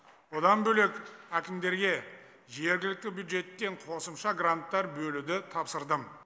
одан бөлек әкімдерге жергілікті бюджеттен қосымша гранттар бөлуді тапсырдым